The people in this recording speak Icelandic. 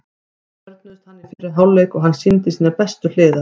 Við þörfnuðumst hans í fyrri hálfleik og hann sýndi sínar bestu hliðar.